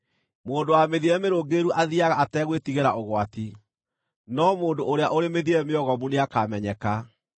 Mũndũ wa mĩthiĩre mĩrũngĩrĩru athiiaga ategwĩtigĩra ũgwati, no mũndũ ũrĩa ũrĩ mĩthiĩre mĩogomu nĩakamenyeka.